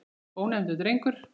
Ónefndur drengur: Viljið þið?